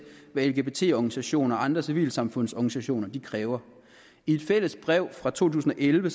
hvad lgbt organisationer og andre civilsamfundsorganiationer kræver i et fælles brev fra to tusind og elleve